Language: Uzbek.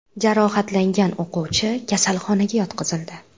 Jarohatlangan o‘quvchi kasalxonaga yotqizildi.